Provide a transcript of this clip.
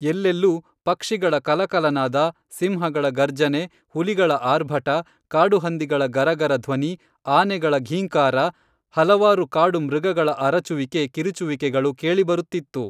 ಎಲ್ಲೆಲ್ಲೂ ಪಕ್ಷಿಗಳ ಕಲಕಲನಾದ ಸಿಂಹಗಳ ಗರ್ಜನೆ ಹುಲಿಗಳ ಆರ್ಭಟ ಕಾಡುಹಂದಿಗಳ ಗರಗರ ಧ್ವನಿ ಆನೆಗಳ ಘೀಂಕಾರ ಹಲವಾರು ಕಾಡು ಮೃಗಗಳ ಅರಚುವಿಕೆ ಕಿರುಚುವಿಕೆಗಳು ಕೇಳಿ ಬರುತ್ತಿತ್ತು